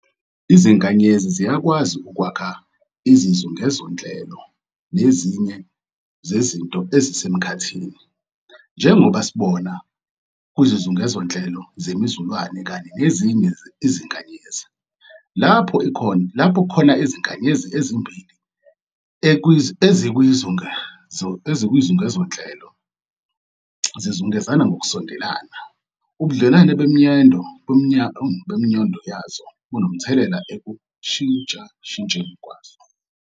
IziNkanyezi ziyakwazi ukwakha izizungezonhlelo nezinye zezinto ezisemkhathini, njengoba sibona kwizizungezonhlelo zemiZulwane kanye nezinye iziNkanyezi. Lapho khona iziNkanyezi ezimbili ezikwizungezonhlelo zizungezana ngokusondelene, ubudlelwano bemNyondo yazo bubanomthelelo ekushintshashintsheni kwazo.